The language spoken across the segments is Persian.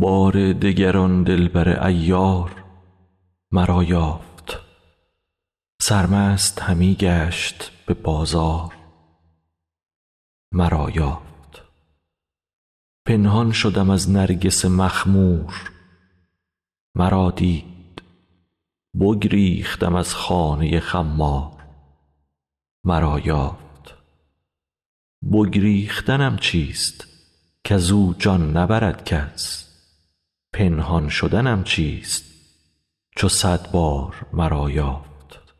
بار دگر آن دلبر عیار مرا یافت سرمست همی گشت به بازار مرا یافت پنهان شدم از نرگس مخمور مرا دید بگریختم از خانه خمار مرا یافت بگریختنم چیست کز او جان نبرد کس پنهان شدنم چیست چو صد بار مرا یافت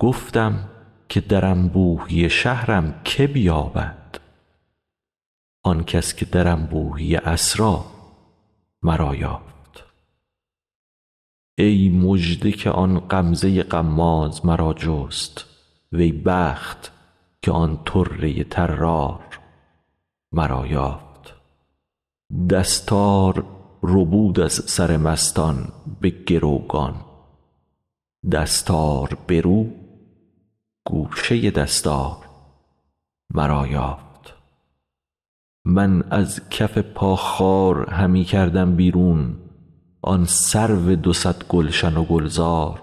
گفتم که در انبوهی شهرم که بیابد آن کس که در انبوهی اسرار مرا یافت ای مژده که آن غمزه غماز مرا جست وی بخت که آن طره طرار مرا یافت دستار ربود از سر مستان به گروگان دستار برو گوشه دستار مرا یافت من از کف پا خار همی کردم بیرون آن سرو دو صد گلشن و گلزار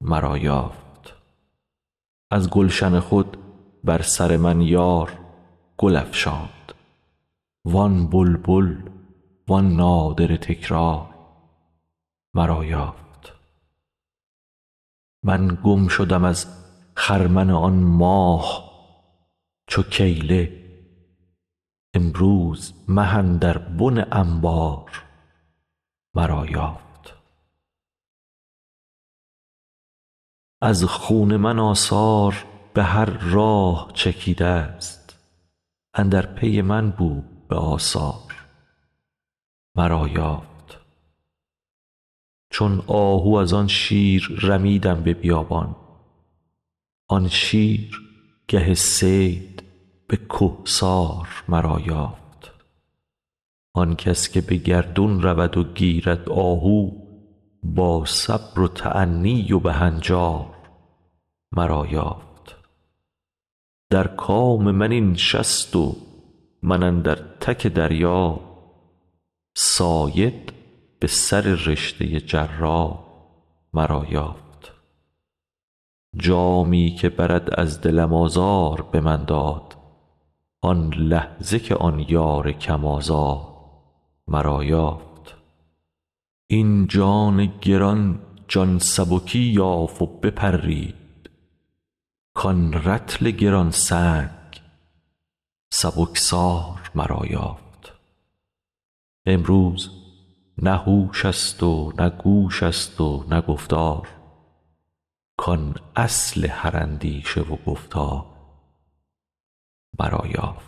مرا یافت از گلشن خود بر سر من یار گل افشاند وان بلبل وان نادره تکرار مرا یافت من گم شدم از خرمن آن ماه چو کیله امروز مه اندر بن انبار مرا یافت از خون من آثار به هر راه چکیدست اندر پی من بود به آثار مرا یافت چون آهو از آن شیر رمیدم به بیابان آن شیر گه صید به کهسار مرا یافت آن کس که به گردون رود و گیرد آهو با صبر و تأنی و به هنجار مرا یافت در کام من این شست و من اندر تک دریا صاید به سررشته جرار مرا یافت جامی که برد از دلم آزار به من داد آن لحظه که آن یار کم آزار مرا یافت این جان گران جان سبکی یافت و بپرید کان رطل گران سنگ سبکسار مرا یافت امروز نه هوش است و نه گوش است و نه گفتار کان اصل هر اندیشه و گفتار مرا یافت